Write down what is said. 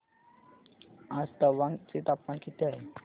आज तवांग चे तापमान किती आहे